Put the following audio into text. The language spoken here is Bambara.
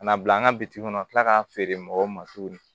Ka na bila an ka bitiki kɔnɔ tila k'a feere mɔgɔw ma tuguni